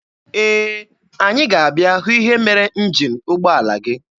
Ee, anyị ga-abịa hụ ihe mere njin ụgbọala gị.